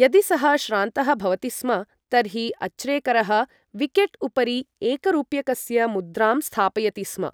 यदि सः श्रान्तः भवति स्म, तर्हि अच्रेकरः विकेट् उपरि एकरूप्यकस्य मुद्राम् स्थापयति स्म,